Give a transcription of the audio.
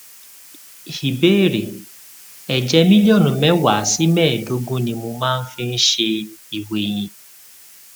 ìbéèrè èjè mílílíònù méwàá sí méèédógún ni mo máa ń fi ń ṣe ìwèyìn